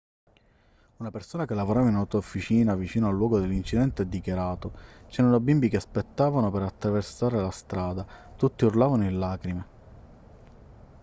una persona che lavorava in un'autofficina vicino al luogo dell'incidente ha dichiarato c'erano bimbi che aspettavano per attraversare la strada tutti urlavano in lacrime